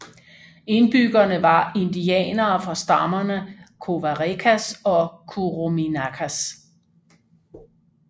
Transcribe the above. Indbyggerne var indianere fra stammerne Covarecas og Curuminacas